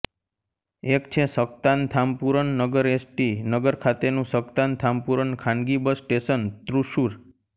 એક છે સક્તાન થામ્પૂરન નગરએસ ટી નગર ખાતેનું સક્તાન થામ્પુરન ખાનગી બસ સ્ટેશન તૃશ્શૂર